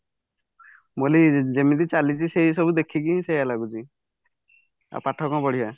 ବୋଲି ଯେମିତି ଚାଲିଛି ସେଇ ସବୁ ଦେଖିକି ସେଇଆ ଲାଗୁଛି ଆଉ ପାଠ କଣ ପଢିବା